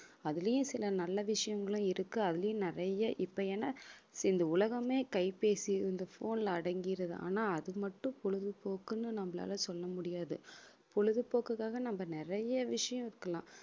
அதுலயும் சில நல்ல விஷயங்களும் இருக்கு அதுலயும் நிறைய இப்ப ஏன்னா இந்த உலகமே கைப்பேசி இந்த phone ல அடங்கிருது ஆனா அது மட்டும் பொழுதுபோக்குன்னு நம்மளால சொல்ல முடியாது பொழுதுபோக்குக்காக நம்ம நிறைய விஷயம் இருக்கலாம்